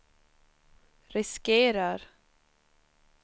riskerar